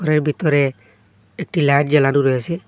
ঘরের বিতরে একটি লাইট জ্বালানো রয়েসে।